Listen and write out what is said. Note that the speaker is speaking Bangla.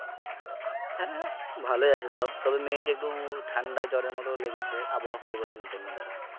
হ্যাঁ ভালোই আছে সব, তবে মেয়েকে একটু ঠান্ডা জ্বরের মতো লেগেছে আবহাওয়া পরিবর্তনের জন্য ধরো।